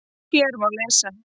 Hér má lesa